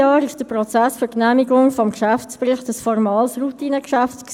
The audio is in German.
Die FiKo hat auch schon bei der Beratung des Geschäftsberichts 2015 auf Probleme hingewiesen.